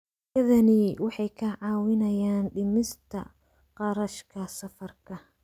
Adeegyadani waxay kaa caawinayaan dhimista kharashka safarka.